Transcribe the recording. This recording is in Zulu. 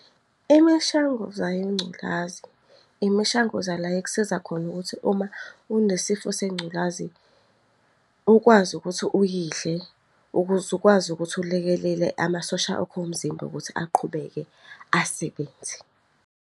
Imishanguza yengculazi, imishanguza la ekusiza khona ukuthi uma unesifo sengculazi ukwazi ukuthi uyidle ukuze ukwazi ukuthi ulekelele amasosha akho omzimba ukuthi aqhubeke asebenze.